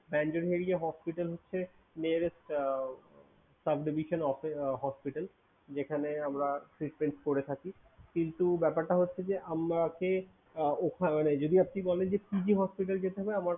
Banjanheria hospital হচ্ছে nearest sub-divison hospital । যেখানে আমরা treatment করে থাকি কিন্তু ব্যাপার টা হচ্ছে যে আমাকে যদি আপনি বলেন যে PG hospital যেতে হবে?